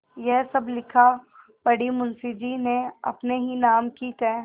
यह सब लिखापढ़ी मुंशीजी ने अपने ही नाम की क्